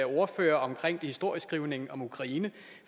ordfører om historieskrivning til ukraine